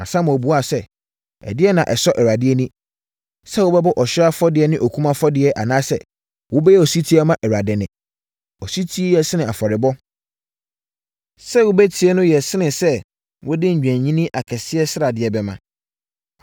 Na Samuel buaa sɛ, “Ɛdeɛn na ɛsɔ Awurade ani: sɛ wobɛbɔ ɔhyeɛ afɔdeɛ ne okum afɔdeɛ anaasɛ wobɛyɛ ɔsetie ama Awurade nne? Osetie yɛ sene afɔrebɔ, sɛ wobɛtie no no yɛ sene sɛ wode nnwennini akɛseɛ sradeɛ bɛma.